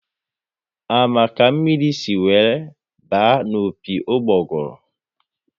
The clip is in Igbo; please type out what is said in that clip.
A ma ka mmiri si were baa n'opi ugboguru?